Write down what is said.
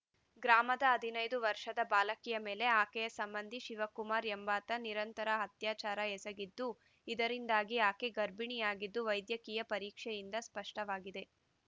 ಗ್ರಾಮದ ಹದಿನೈದು ವರ್ಷದ ಬಾಲಕಿ ಮೇಲೆ ಆಕೆಯ ಸಂಬಂಧಿ ಶಿವಕುಮಾರ ಎಂಬಾತ ನಿರಂತರ ಅತ್ಯಾಚಾರ ಎಸಗಿದ್ದ ಇದರಿಂದಾಗಿ ಆಕೆ ಗರ್ಭಿಣಿಯಾಗಿದ್ದು ವೈದ್ಯಕೀಯ ಪರೀಕ್ಷೆಯಿಂದ ಸ್ಪಷ್ಟವಾಗಿದೆ